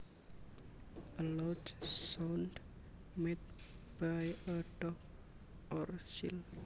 A loud sound made by a dog or seal